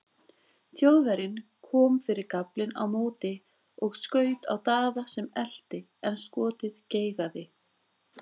Þjóðverjinn kom fyrir gaflinn á móti og skaut á Daða sem elti en skotið geigaði.